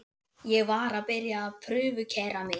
Ég var að byrja að prufukeyra mig.